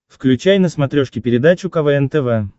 включай на смотрешке передачу квн тв